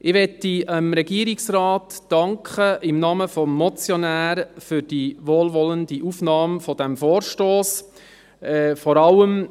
Ich möchte dem Regierungsrat im Namen des Motionärs für die wohlwollende Aufnahme dieses Vorstosses danken.